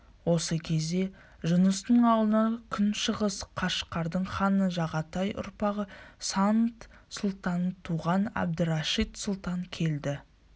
осы кезде жұныстың аулына күншығыс қашқардың ханы жағатай ұрпағы сант-сұлтаннан туған әбдірашит сұлтан келді